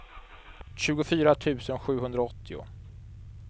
tjugofyra tusen sjuhundraåttio